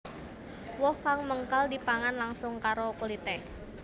Woh kang mengkal dipangan langsung karo kulité